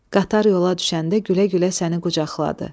Qatar yola düşəndə gülə-gülə səni qucaqladı.